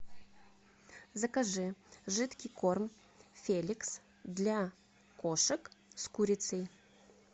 закажи жидкий корм феликс для кошек с курицей